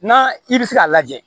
N'a i bɛ se k'a lajɛ